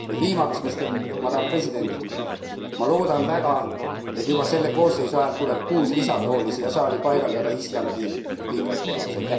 Ja viimaks, madame president, ma loodan väga, et juba selle koosseisu ajal tuleb kuus lisatooli siia saali paigaldada Islandi liikmete jaoks.